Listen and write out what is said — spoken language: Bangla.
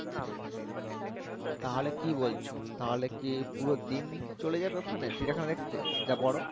তাহলে কি বলছো তাহলে কি পুরো দিন চলে যাবে ওখানে চিড়িয়া খানা দেখতে যা বড়